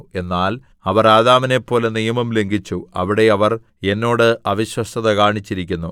എന്നാൽ അവർ ആദാമിനെപ്പോലെ നിയമം ലംഘിച്ചു അവിടെ അവർ എന്നോട് അവിശ്വസ്തത കാണിച്ചിരിക്കുന്നു